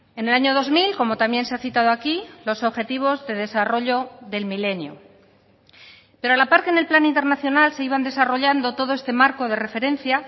en el año dos mil como también se ha citado aquí los objetivos de desarrollo del milenio pero a la par que en el plan internacional se iban desarrollando todo este marco de referencia